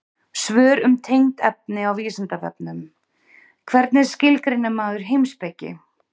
Svör um tengd efni á Vísindavefnum: Hvernig skilgreinir maður heimspeki?